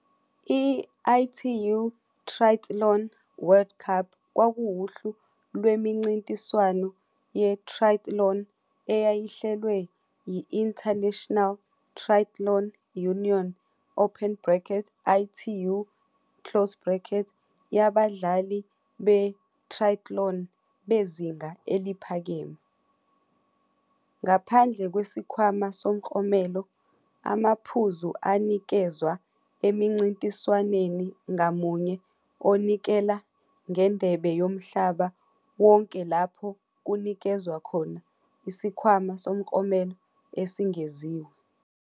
I-ITU Triathlon World Cup kwakuwuhlu lwemincintiswano ye-triathlon eyayihlelwe yi-International Triathlon Union, ITU, yabadlali be-triatlon bezinga eliphakeme. Ngaphandle kwesikhwama somklomelo, amaphuzu anikezwa emncintiswaneni ngamunye onikela ngeNdebe Yomhlaba wonke lapho kunikezwa khona isikhwama somklomelo esengeziwe.